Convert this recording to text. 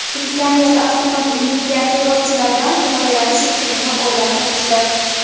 Britaniyada avtomobil mingan terrorchilardan himoyalanish usulini o‘ylab topishdi.